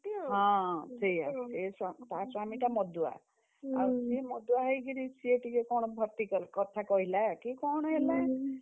ହଁ, ସେୟା ତା ସ୍ୱାମିଟା ମଦୁଆ। ମଦୁଆ ହେଇକିରି ସିଏ ଟିକେ କଣ vertical କଥା କହିଲା କି କଣ ହେଲା?